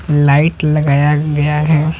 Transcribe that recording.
Light लगाया गया है ।